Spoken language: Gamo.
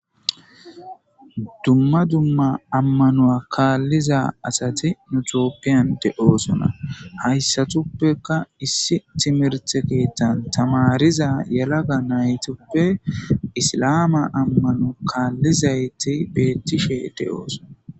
Dumma dumma ammanuwa kaalliza asati tophiyan de7oosona hasatupeka issi timirtte keeththa tamaariza naytupe issilame amano kaallizayti beeetishe de7osona.